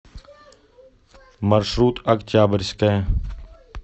маршрут октябрьская